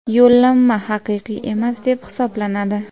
yo‘llanma haqiqiy emas deb hisoblanadi.